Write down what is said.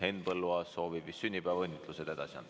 Henn Põlluaas soovib vist sünnipäevaõnnitlused edasi anda.